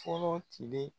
Fɔlɔ tile